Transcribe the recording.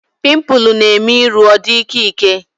Pimpụl na-eme iru ọ dị ịkẹ́ ịkẹ́